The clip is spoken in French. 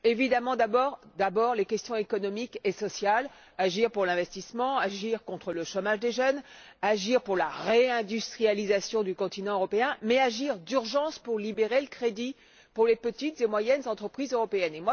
Évidemment, d'abord les questions économiques et sociales agir pour l'investissement, agir contre le chômage des jeunes, agir pour la réindustrialisation du continent européen, mais aussi agir d'urgence pour libérer le crédit pour les petites et moyennes entreprises européennes.